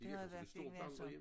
Det havde også et stort vandrehjem